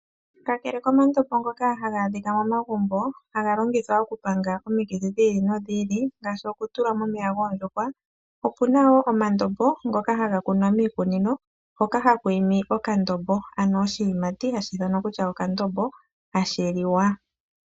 Kakele komandombo ngoka haga adhika momagumbo haga vulu okupanga omitit dhi ili nodhi ili, ngaashi okutula momeya goondjuhwa, opuna wo omandombo ngoka haga kunwa miikunino hoka haku imi okandombo. Ano oshiyimati hashi ithanwa kutya okandombo, hashi liwa.